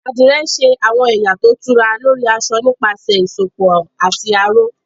Àdìrẹ ń ṣe àwọn ẹ̀yà tó tura lórí aṣọ nípasẹ̀ ìsopọ̀ àti aró